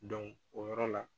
o yɔrɔ la